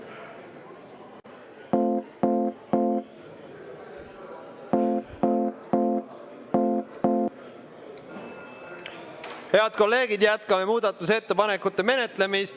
Head kolleegid, jätkame muudatusettepanekute menetlemist.